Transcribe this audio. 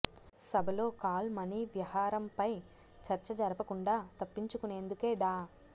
సభలో call money వ్యహారంపై చర్చ జరపకుండా తప్పించుకొనేందుకే డా